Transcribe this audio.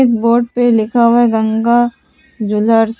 Board पे लिखा हुआ है गंगा ज्वेलर्स।